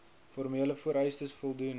formele vereistes voldoen